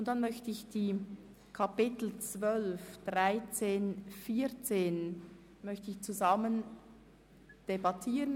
Anschliessend möchte ich die Themenblöcke 12, 13 und 14 gemeinsam debattieren.